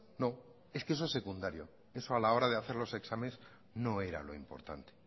no es que eso es secundario eso a la hora de hacer los exámenes no era lo importante